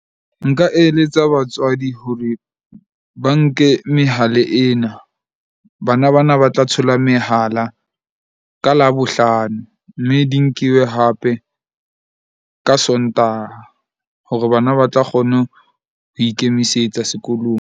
Nka eletsa batswadi hore ba nke mehala ena. Bana ba na ba tla thola mehala ka Labohlano. Mme di nkiwe hape ka Sontaha hore bana ba tla kgona ho ikemisetsa sekolong.